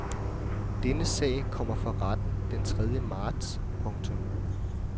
Denne sag kommer for retten den tredje marts. punktum